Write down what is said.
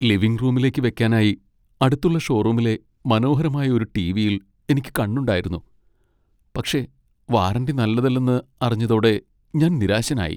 Living റൂമിലേക്ക് വെക്കാനായി അടുത്തുള്ള ഷോറൂമിലെ മനോഹരമായ ഒരു ടി.വി.യിൽ എനിക്ക് കണ്ണുണ്ടായിരുന്നു, പക്ഷേ വാറന്റി നല്ലതല്ലെന്ന് അറിഞ്ഞതോടെ ഞാൻ നിരാശനായി.